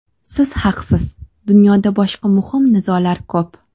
Siz haqsiz: dunyoda boshqa muhim nizolar ko‘p.